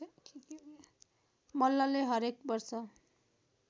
मल्लले हरेक वर्ष